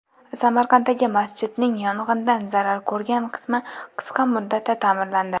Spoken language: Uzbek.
Samarqanddagi masjidning yong‘indan zarar ko‘rgan qismi qisqa muddatda ta’mirlandi.